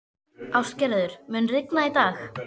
Ástgerður, mun rigna í dag?